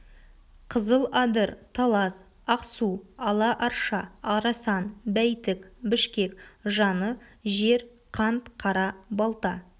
қызыл-адыр талас ақ-су ала-арша арасан бәйтік бішкек жаны-жер қант қара-балта